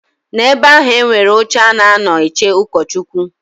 Na ebe ahụ e nwere oche a na a nọ eche ụkọchụkwụ.